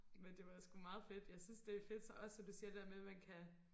men det var sku meget fedt jeg synes det fedt også det der med du siger med man kan